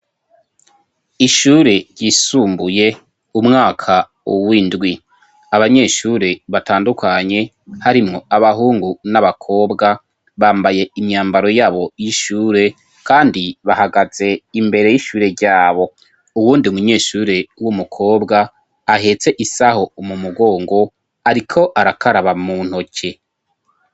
Ishure ryisumbuye umwaka uwindwi abanyeshure batandukanye harimwo abahungu n'abakobwa bambaye imyambaro yabo y'ishure, kandi bahagaze imbere y'ishure ryabo uwundi munyeshure w'umukobwa ahetse isaho mu mugongo, ariko arakaraba mu ntoke.